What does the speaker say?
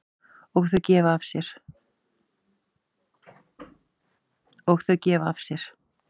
Og þau gefa af sér.